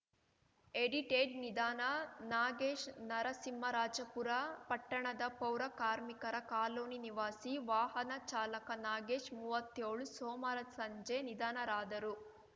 edited ನಿಧನ ನಾಗೇಶ್ ನರಸಿಂಹರಾಜಪುರ ಪಟ್ಟಣದ ಪೌರ ಕಾರ್ಮಿಕರ ಕಾಲೋನಿ ನಿವಾಸಿ ವಾಹನ ಚಾಲಕ ನಾಗೇಶ್ ಮೂವತ್ತ್ಯೋಳು ಸೋಮವಾರ ಸಂಜೆ ನಿಧನರಾದರು